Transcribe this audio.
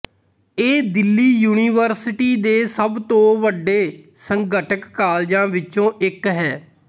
ਇਹ ਦਿੱਲੀ ਯੂਨੀਵਰਸਿਟੀ ਦੇ ਸਭ ਤੋਂ ਵੱਡੇ ਸੰਘਟਕ ਕਾਲਜਾਂ ਵਿੱਚੋਂ ਇੱਕ ਹੈ